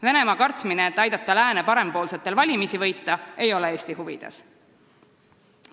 Venemaa kartmine, et aidata lääne parempoolsetel valimisi võita, ei ole Eesti huvides.